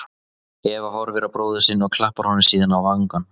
Eva horfir á bróður sinn og klappar honum síðan á vangann.